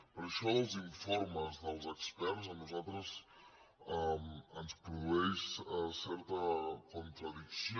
perquè això dels informes dels experts a nosaltres ens produeix certa contradicció